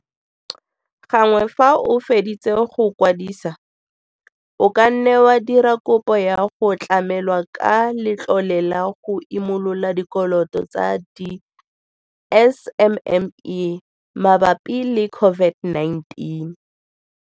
Gangwe fa o feditse go e kwadisa, o ka nna wa dira kopo ya go tlamelwa ka Letlole la go Imolola Dikoloto tsa di-SMME mabapi le COVID-19.